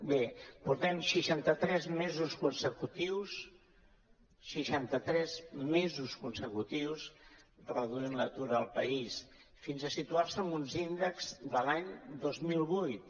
bé portem seixanta tres mesos consecutius seixanta tres mesos consecutius reduint l’atur al país fins a situar nos en uns índexs de l’any dos mil vuit